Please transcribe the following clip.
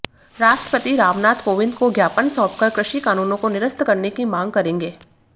राष्ट्रपति रामनाथ कोविंद को ज्ञापन सौंपकर कृषि कानूनों को निरस्त करने की मांग करेंगे